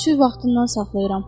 Çürük vaxtından saxlayıram.